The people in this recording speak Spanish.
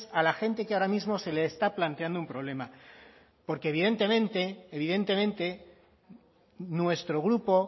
a la gente que ahora mismo se le está planteando un problema porque evidentemente nuestro grupo